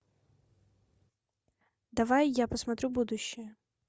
давай я посмотрю будущее